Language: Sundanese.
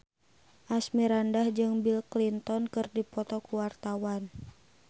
Asmirandah jeung Bill Clinton keur dipoto ku wartawan